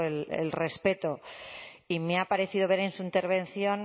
el respeto y me ha parecido ver en su intervención